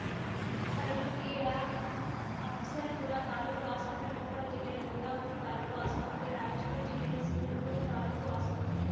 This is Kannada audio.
ಕಲಬುರಗಿಯ ಅಫ್ಜಲ್‌ಪುರ ತಾಲೂಕು ಆಸ್ಪತ್ರೆ ಕೊಪ್ಪಳ ಜಿಲ್ಲೆಯ ಗಂಗಾವತಿ ತಾಲೂಕು ಆಸ್ಪತ್ರೆ ರಾಯಚೂರು ಜಿಲ್ಲೆಯ ಸಿಂಧನೂರು ತಾಲೂಕು ಆಸ್ಪತ್ರೆ